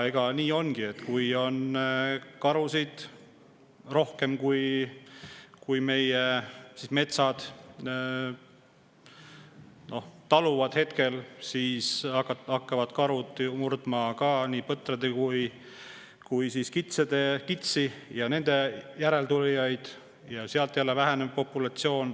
Ja nii ongi, et kui karusid on rohkem, kui meie metsad taluvad, siis hakkavad karud murdma nii põtru kui ka kitsi ja nende järeltulijaid ja siis jälle väheneb populatsioon.